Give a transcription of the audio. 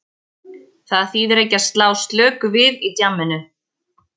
Það þýðir ekki að slá slöku við í djamminu.